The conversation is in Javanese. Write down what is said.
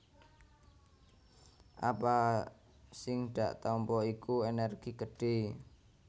Apa sing dak tampa iku ènèrgi gedhé